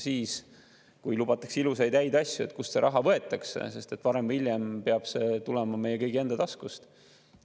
Siis, kui lubatakse ilusaid ja häid asju, tuleks küsida, kust see raha võetakse, sest varem või hiljem peab see tulema meie kõigi enda taskust.